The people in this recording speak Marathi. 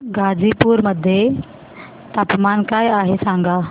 गाझीपुर मध्ये तापमान काय आहे सांगा